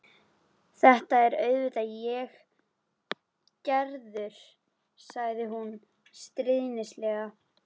Þetta er auðvitað ég, Gerður, sagði hún stríðnislega.